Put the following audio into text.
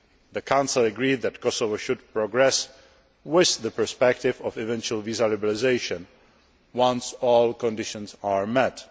The Council agreed that Kosovo should progress with the perspective of eventual visa liberalisation, once all conditions are